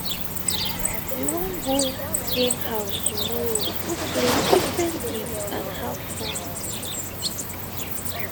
we wan go game house tomorrow go play different games and have fun